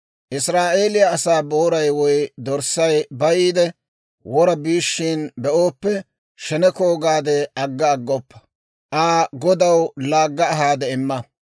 «Israa'eeliyaa asaa booray woy dorssay bayiide wora biishshiina be'ooppe, sheneko gaade agga aggoppa; Aa godaw laagga ahaade imma.